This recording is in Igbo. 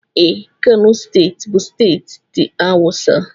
Ee, Kano steeti bụ steeti ndị awụsa